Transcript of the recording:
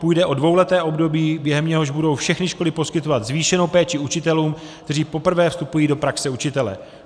Půjde o dvouleté období, během něhož budou všechny školy poskytovat zvýšenou péči učitelům, kteří poprvé vstupují do praxe učitele.